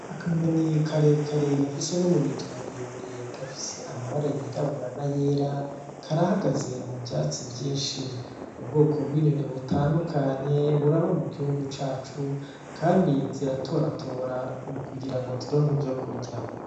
Akanyoni karekare gafise n'umurizo muremure gafise amabara yirabura nayera karahagaze muvyatsi vyinshi , ubwoko bw'inyoni butandukanye buraba mu gihugu cacu kandi ziratoratora kugirango zironke ivyo kurya.